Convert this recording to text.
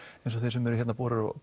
eins og þeir sem eru hérna